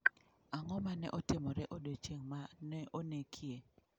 Ang'o ma ne otimore e odiechieng' ma ne onekie?